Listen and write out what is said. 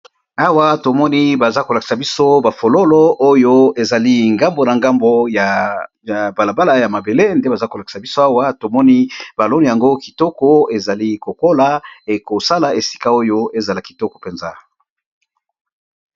Awa tomoni bazali kolakisa biso ba fololo oyo ezali nzinga nzinga ya balabala oyo ya mabélé